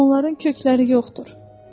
Onların kökləri yoxdur.